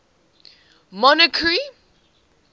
monarchy